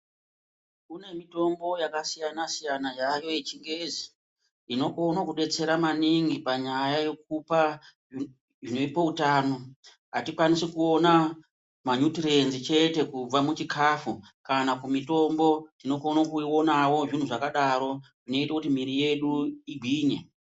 Kune mitombo yakasiyana-siyana yayo yechingezi inokona kubetsera maningi panyaya yekupa zvinopa utano. Hatikwanisi kuona manyuturenzi chete kubva muchikafu. Kana kumitombo unokona kuionavo zvinhu zvakadaro zvinote kuti mwiri yedu ingwinye.